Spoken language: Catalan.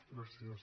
gràcies